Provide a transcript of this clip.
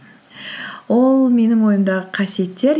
ол менің ойымдағы қасиеттер